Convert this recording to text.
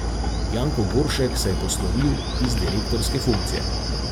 Janko Goršek se je poslovil iz direktorske funkcije.